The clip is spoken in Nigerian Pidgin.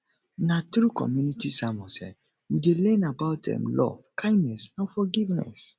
na through community sermons um we dey learn about um love kindness and forgiveness